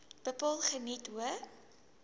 bepaal geniet hoë